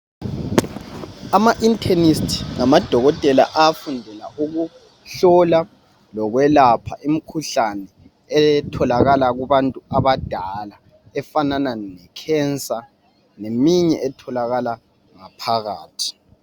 Ama inchemist ngamadokotela afundela ukuhlola lokwelapha imikhuhlane etholakala kubantu abadala efanana lecancer ngeminye etholakala ngaphakathi.